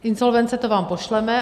Insolvence, to vám pošleme.